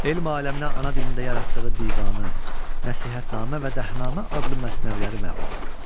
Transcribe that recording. Elm aləminə ana dilində yaratdığı divanı, Nəsihətnamə və Dəhnamə adlı məsnəviləri məlumdur.